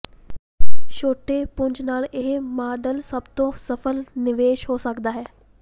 ਛੋਟੇ ਪੁੰਜ ਨਾਲ ਇਹ ਮਾਡਲ ਸਭ ਤੋਂ ਸਫਲ ਨਿਵੇਸ਼ ਹੋ ਸਕਦਾ ਹੈ